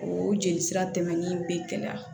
O jeli sira tɛmɛnin bɛ gɛlɛya